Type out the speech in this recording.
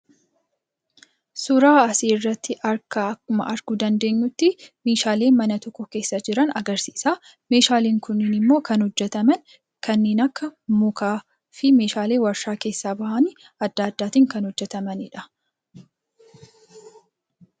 Suuraa asii irratti akkuma arguu dandeenyutti meeshaalee mana tokko keessa jiran agarsiisa. Meeshaaleen kunniin immoo kan hojjataman kanneen akka mukaa fi meeshaalee warshaa keessaa bahan adda addaatiin kan hojjatamaniidha.